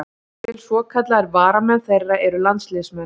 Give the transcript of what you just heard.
Jafnvel svokallaðir varamenn þeirra eru landsliðsmenn.